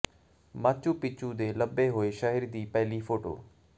Machu Picchu ਦੇ ਲੱਭੇ ਹੋਏ ਸ਼ਹਿਰ ਦੀ ਪਹਿਲੀ ਫੋਟੋ